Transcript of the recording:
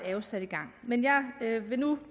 jo sat i gang men jeg vil nu